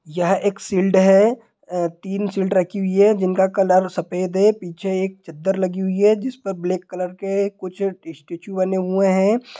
यह एक सिल्ड हैं और तीन सिल्ड रखी हुई है जिनका कलर सफेद है| पीछे एक चद्दर लगी हुई है जिस पर ब्लैक कलर के कुछ स्टैचू बने हुए हैं ।